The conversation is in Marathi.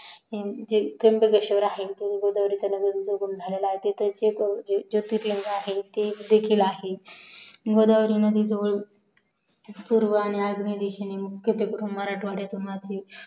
जे त्रुंबकेश्वर आहे जेथे गोदावरी नदीचा उगम झालेला आहे तिथे देखील आहे गोदावरी नदी जवळ पूर्वा दिशेनं येऊन मराठवड्यातून नाशिक